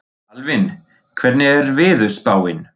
Alvin, hvernig er veðurspáin?